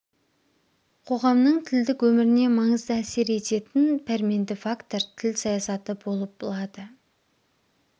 қоғамның тілдік өміріне маңызды әсер ететін пәрменді фактор тіл саясаты болып лады